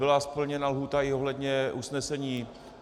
Byla splněna lhůta i ohledně usnesení.